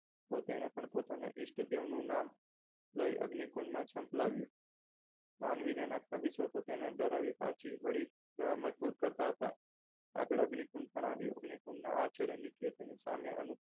તો તેને પણ પોતાના ઇષ્ટદેવનું નામ લઈ અગ્નિકુંડમાં ઝંપલાવ્યું માનવીના કવિ સોય તેને ડરાવી પાછી વળી એવા મજબૂત કરતા હતા આગળ અગ્નિકુંજ પણ આવ્યો અગ્નિ કુંડના આ છેડે નીચે થઈ સામે અનુપ